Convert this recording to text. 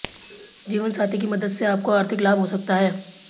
जीवनसाथी की मदद से आपको आर्थिक लाभ हो सकता है